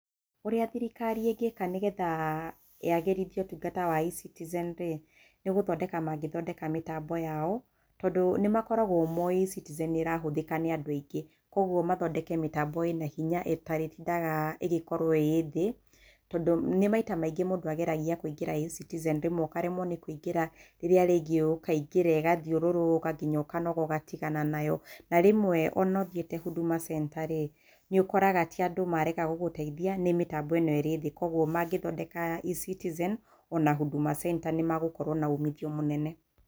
Ũrĩa thirikari ĩngĩka nĩgetha yagĩrithie ũtungata wa eCitizen rĩ, nĩ gũthondeka mangĩthondeka mĩtambo yao, tondũ nĩ makoragwo moĩ eCitizen nĩ ĩrahũthĩka nĩ andũ aingĩ. Kwoguo mathondeke mĩtambo ĩna hinya ĩtarĩtindaga ĩgĩkorwo ĩ thĩ. Tondũ, nĩ maita maingĩ mũndũ ageragia kũingĩra eCitizen, rĩmwe ũkaremwo nĩ kũingĩra, rĩrĩa rĩngĩ ũkaingĩra ĩgathiũrũrũka nginya ũkanoga ũgatigana nayo. Na rĩmwe o na ũthiĩte Huduma Center rĩ, nĩ ũkoraga ti andũ marega gũgũteithia, nĩ mĩtambo ĩno ĩrĩ thĩ. Kwoguo mangĩthondeka eCitizen, o na Huduma Center nĩ magũkorwo na umithio mũnene.